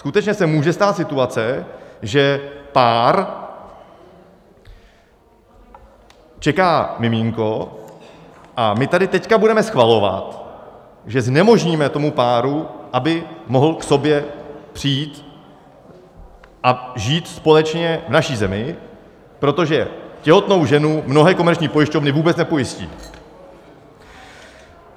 Skutečně se může stát situace, že pár čeká miminko, a my tady teď budeme schvalovat, že znemožníme tomu páru, aby mohl k sobě přijít a žít společně v naší zemi, protože těhotnou ženu mnohé komerční pojišťovny vůbec nepojistí.